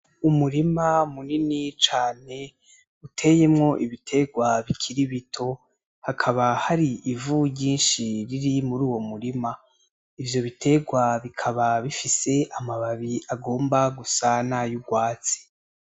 Umurima munini cane uteyemwo ibiterwa bikiri bito. Hakaba hari ivu ryinshi riri muri uwo murima. Ivyo biterwa bikaba bifise amababi agomba gusa nay'urwatsi.